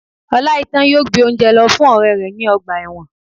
Oláitan yóò gbé óúnjẹ lọ fún ọrẹ rẹ ní ọgbà ẹ̀wọ̀n